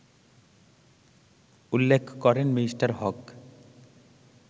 উল্লেখ করেন মি: হক